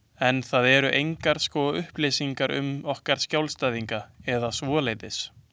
En það eru engar sko upplýsingar um okkar skjólstæðinga eða svoleiðis.